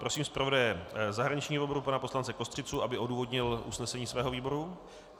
Prosím zpravodaje zahraničního výboru pana poslance Kostřicu, aby odůvodnil usnesení svého výboru.